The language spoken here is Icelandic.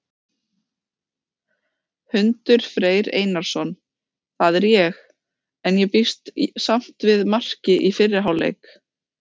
Hundur Freyr Einarsson, það er ég. en ég býst samt við marki í fyrri hálfleik!